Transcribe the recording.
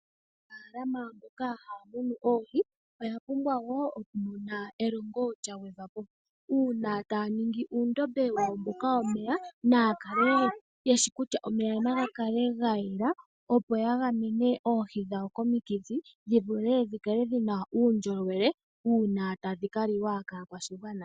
Aanafaalama mboka haya munu oohi oya pumbwa woo oku mona elongo lya gwedhwa po. Uuna taya ningi uundombe woku tula omeya naya kwashilipaleke kutya omeya oga yela opo yagamene oohi dhawo komikithi dhikale dhina uundjolowele uuna tadhi kaliwa kaakwashigwana.